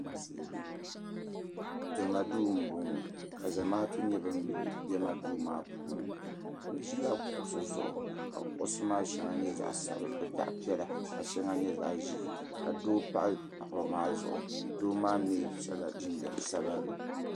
Niriba anahi m bɛ dunduŋɔ puuni yino ʒila plastik chɛya zuɣu ka o liiga zuɣu saa niŋ zaɣi piɛlli ka gbuni maa niŋ zaɣi buluu ka yili maa za bɛ nyaanga ka bɛnchi nim za di luɣuli zuɣu doo maa yɛla liiga piɛlli ka so jinjɛm ŋmaa.